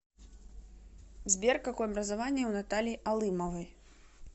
сбер какое образование у натальи алымовой